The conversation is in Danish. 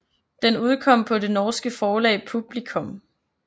Den udkom på det norske forlag Publicom